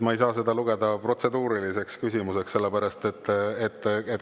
Ma ei saa seda lugeda protseduuriliseks küsimuseks.